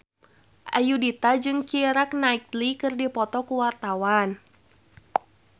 Ayudhita jeung Keira Knightley keur dipoto ku wartawan